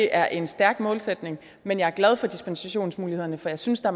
er en stærk målsætning men jeg er glad for dispensationsmulighederne for jeg synes der